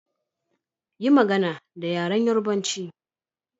Yi magana da yaren Yorubanchi.